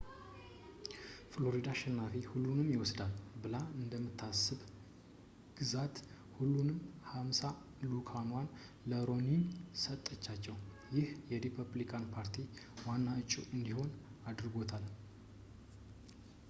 ፍሎሪዳ አሸናፊ-ሁሉንም ይወስዳል ብላ እንደምታስብ ግዛት ሁሉንም ሃምሳ ልዑካኖቹዋን ለሮኒኒ ሰጠቻቸው ይህ የሪፐብሊካን ፓርቲ ዋና ዕጩ እንዲሆን አድርጎታል